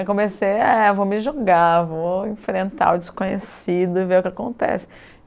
Aí comecei, é, vou me jogar, vou enfrentar o desconhecido e ver o que acontece.